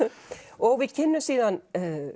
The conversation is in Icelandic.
og við kynnumst síðan